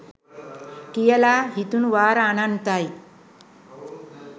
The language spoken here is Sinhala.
කියලා හිතුනු වාර අනන්තයි